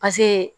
Paseke